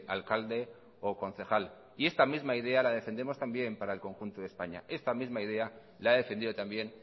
alcalde o concejal y esta misma idea la defendemos también para el conjunto de españa esta misma idea la he defendido también